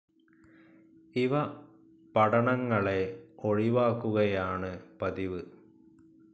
ഇവ പടണങ്ങളെ ഒഴിവാക്കുകയാണ് പതിവ്.